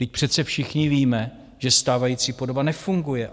Vždyť přece všichni víme, že stávající podoba nefunguje.